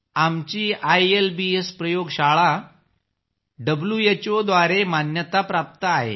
आमची आयएलबीएस प्रयोगशाळा डब्ल्यूएचओ द्वारे मान्यता प्राप्त आहे